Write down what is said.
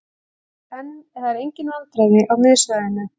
Það eru engin vandræði á miðsvæðinu.